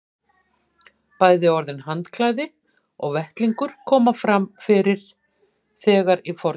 Bæði orðin handklæði og vettlingur koma fyrir þegar í fornu máli.